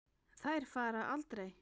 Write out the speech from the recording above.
Þær fara aldrei.